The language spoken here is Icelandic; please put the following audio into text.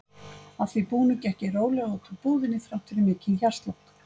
Að því búnu gekk ég rólega út úr búðinni þrátt fyrir mikinn hjartslátt.